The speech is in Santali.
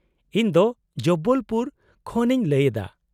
-ᱤᱧ ᱫᱚ ᱡᱚᱵᱵᱚᱞ ᱯᱩᱨ ᱠᱷᱚᱱ ᱤᱧ ᱞᱟᱹᱭ ᱮᱫᱟ ᱾